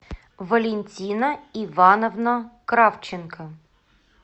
валентина ивановна кравченко